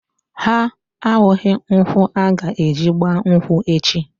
Ha ahụghị nkwụ aga-eji gba nkwụ echi.